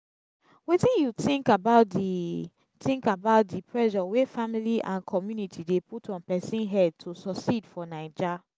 wetin you think about di think about di pressure wey family and community dey put on pesin head to succeed for naija?